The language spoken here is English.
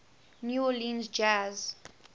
new orleans jazz